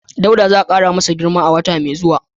Dauda za a kara masa girma a wata mai zuwa